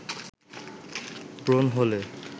ব্রণ হলে